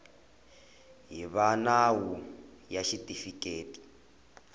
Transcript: hi va nawu ya xitifiketi